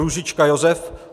Růžička Josef